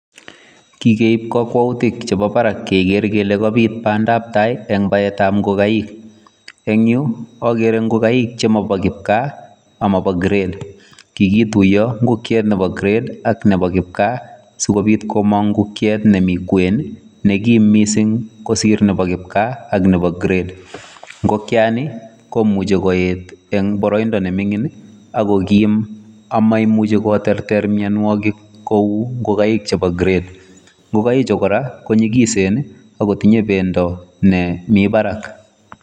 Ki keib kokwoutik che mi barak keger kele kabit bandap tai en baetab ngokaik. En yu ogere ngokaik che mo bo kipkaa ama bo kiret. Kigituiyo ngokiet nebo kiret ak nebo kipkaa sikobit komong' ngokiet nemi kwen nekim mising' kosir nebo kipkaa ak nebo kiret. Ngokyani komuche koet en boroindo ne ming'in ak ko kim ama imuche koterter mianwogik kou ngokaik chebo kiret. Ngokaichu kora konyigisen ago tinye bendo ne mi barak.